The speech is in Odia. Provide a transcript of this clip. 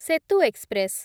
ସେତୁ ଏକ୍ସପ୍ରେସ୍